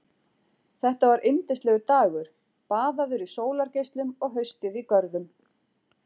Þetta var yndislegur dagur, baðaður í sólargeislum og haustið í görðum.